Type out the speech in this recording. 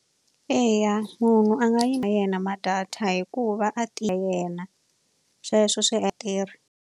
Eya munhu a nga yi ma yena ma data hikuva a yena sweswo swi .